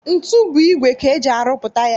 Ntu bụ igwe ka eji rụpụta ya